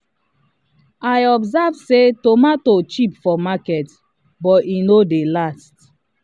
i observe say tomato cheap for market but e no dey last